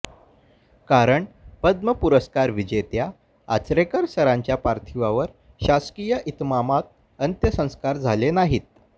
कारण पद्म पुरस्कार विजेत्या आचरेकर सरांच्या पार्थिवावर शासकीय इतमामात अंत्यसंस्कार झाले नाहीत